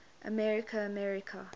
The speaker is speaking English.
america america